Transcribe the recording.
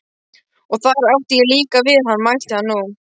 Og þar átti ég líka við hann, mælti hann nú.